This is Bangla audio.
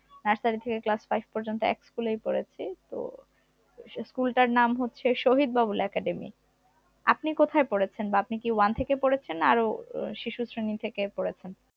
nursery থেকে class five পর্যন্ত এক school ই পড়েছি, তো সেই school টার নাম হচ্ছে শহীদ বাবুল academy, আপনি কোথায় পড়েছেন? বা আপনি কি one থেকে পড়েছেন না আরো আহ শিশু শ্রেণী থেকে পড়েছেন?